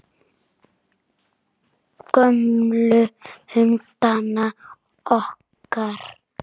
Gömlu hundana okkar.